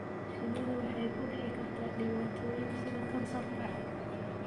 Shinnidu waxay ku dhici kartaa dhibaatooyin sida kansarka.